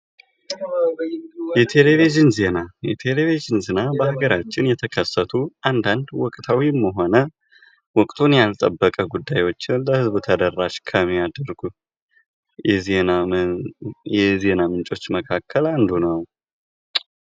የቴሌቪዥን ዜና የቴሌቪዥን ዜና በአገራችን የተከሰቱ አንድ አንድ ወቅታዊም ሆነ ወቅቱን ያልጠበቀ ጉዳዮችን ለህዝቡ ተደራሽ ከሚያደርጉት ከዜና ምንጮች መካከል አንዱ ነው::